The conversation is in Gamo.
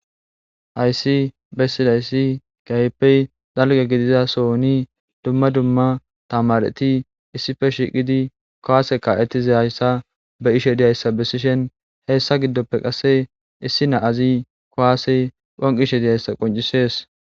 Hayisi besisidayisi kehipe daliga gidida sohoni duma duma tamareti kuwase ka"izayisa besishini hessa gidope issi na'azi kuwase phonqishe dizayisa qoncisesi